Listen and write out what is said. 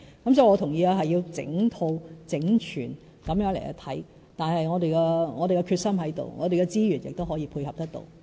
因此，我同意需要整套、整全地檢視，我們有決心，我們的資源也可以配合得到。